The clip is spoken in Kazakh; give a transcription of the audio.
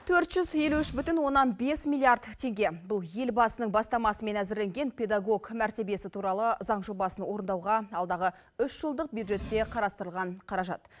төрт жүз елу үш бүтін оннан бес миллиард теңге бұл елбасының бастамасымен әзірленген педагог мәртебесі туралы заң жобасын орындауға алдағы үш жылдық бюджетке қарастырылған қаражат